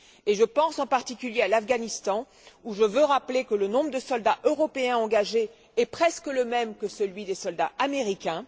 Je pense en particulier à l'Afghanistan où je veux rappeler que le nombre de soldats européens engagés est presque le même que celui des soldats américains.